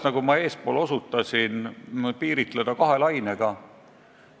Nagu ma eespool osutasin, on tegu olnud kahe lainega.